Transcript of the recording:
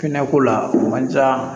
Hinɛ ko la man ca